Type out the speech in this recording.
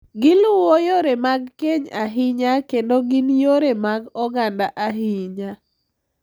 Giluwo yore mag keny ahinya kendo gin yore mag oganda ahinya.